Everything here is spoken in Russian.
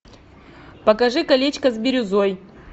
покажи колечко с бирюзой